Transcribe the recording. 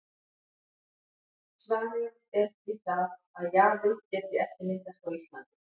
Svarið er því það, að jaði geti ekki myndast á Íslandi.